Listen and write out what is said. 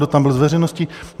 Kdo tam byl z veřejnosti?